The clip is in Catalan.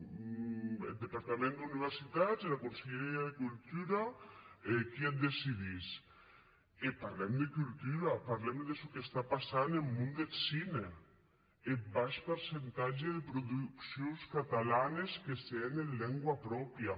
eth departament d’universitats era conselheria de cultura qui ac decidís e parlam de cultura parlam de çò que passe en mon deth cine eth baish percentatge de produccions catalanes que se hèn en lengua pròpria